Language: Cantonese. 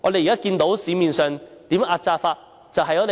現在市面上如何壓榨工人呢？